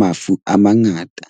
mafu a mangata.